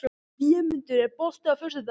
Vémundur, er bolti á föstudaginn?